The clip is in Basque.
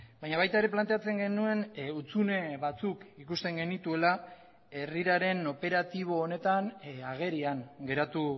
baina baita ere planteatzen genuen hutsune batzuk ikusten genituela herriraren operatibo honetan agerian geratu